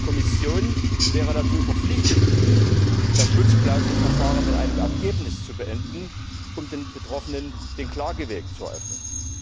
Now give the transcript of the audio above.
Die Kommission wäre dazu verpflichtet gewesen, das Schutzklauselverfahren mit einem Ergebnis zu beenden, um den Betroffenen den Klageweg zu eröffnen.